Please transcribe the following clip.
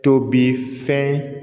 To bi fɛn